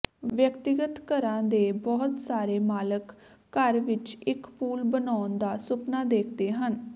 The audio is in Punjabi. ਵਿਅਕਤੀਗਤ ਘਰਾਂ ਦੇ ਬਹੁਤ ਸਾਰੇ ਮਾਲਕ ਘਰ ਵਿੱਚ ਇੱਕ ਪੂਲ ਬਣਾਉਣ ਦਾ ਸੁਪਨਾ ਦੇਖਦੇ ਹਨ